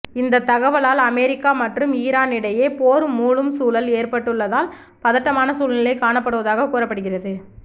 இந்த தகவலால் அமெரிக்கா மற்றும் ஈரான் இடையே போர் மூளும் சூழல் ஏற்பட்டுள்ளதால் பதட்டமான சூழ்நிலை காணப்படுவதாக கூறப்படுகிறது